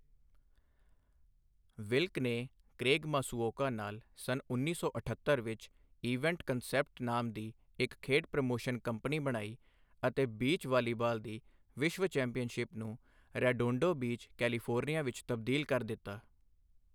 ਵਿਲਕ ਨੇ Craig Masuoka ਨਾਲ ਸੰਨ ਉੱਨੀ ਸੌ ਅਠੱਤਰ ਵਿੱਚ, ਈਵੈਂਟ ਕਨਸੈਪਟਸ ਨਾਮ ਦੀ ਇੱਕ ਖੇਡ ਪ੍ਰਮੋਸ਼ਨ ਕੰਪਨੀ ਬਣਾਈ ਅਤੇ ਬੀਚ ਵਾਲੀਬਾਲ ਦੀ ਵਿਸ਼ਵ ਚੈਂਪੀਅਨਸ਼ਿਪ ਨੂੰ ਰੈਡੋਂਡੋ ਬੀਚ, ਕੈਲੀਫੋਰਨੀਆ ਵਿੱਚ ਤਬਦੀਲ ਕਰ ਦਿੱਤਾ।